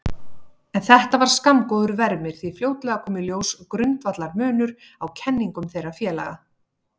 En þetta var skammgóður vermir því fljótlega kom í ljós grundvallarmunur á kenningum þeirra félaga.